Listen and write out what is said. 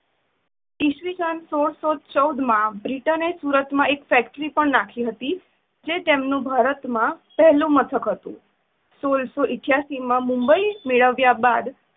ઇશવિશન સોળ સો ચૌદ માં બ્રિટને સુરતમાં એક ફેક્ટરી નાખી જે તેમનું ભારતમાં પહેલું મથક હતું, સોળ સો અઠ્યાસી માં મુંબઇ મેળવ્યા બાદ